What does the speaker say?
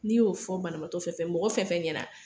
N'i y'o fɔ banabagatɔ fɛn fɛn mɔgɔ fɛn fɛn ɲɛna